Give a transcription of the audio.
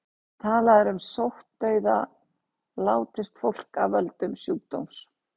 Talað er um sóttdauða látist fólk af völdum sjúkdóms.